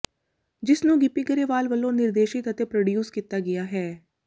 ਜਿਸ ਨੂੰ ਗਿੱਪੀ ਗਰੇਵਾਲ ਵੱਲੋਂ ਨਿਰਦੇਸ਼ਿਤ ਅਤੇ ਪ੍ਰੋਡਿਊਸ ਕੀਤਾ ਗਿਆ ਹੈ